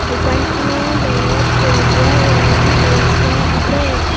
দোকানখনৰ বেৰত সেউজীয়া ৰং কৰি থোৱা আছে।